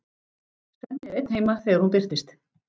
Svenni er einn heima þegar hún birtist.